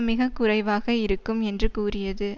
மிக குறைவாக இருக்கும் என்று கூறியது